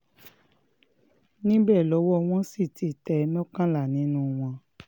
níbẹ̀ lọwọ́ wọn sì ti tẹ̀ mọ́kànlá nínú wọn